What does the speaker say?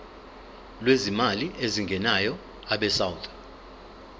lwezimali ezingenayo abesouth